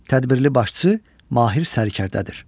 Tədbirli başçı, Mahir Sərkərdədir.